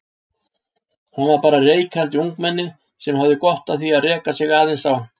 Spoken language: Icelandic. Hann var bara reikandi ungmenni sem hafði gott af því að reka sig aðeins á.